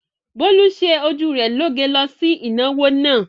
Bólú ṣe ojú rẹ lóge lọ sí ìnáwó náà.